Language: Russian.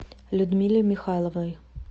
людмиле михайловой